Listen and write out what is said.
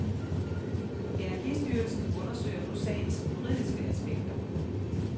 Energistyrelsen undersøger nu sagens juridiske aspekter.